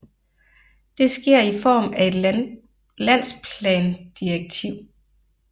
Det sker i form af et landsplandirektiv